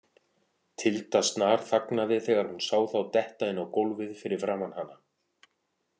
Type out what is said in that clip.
Tilda snarþagnaði þegar hún sá þá detta inn á gólfið fyrir framan hana.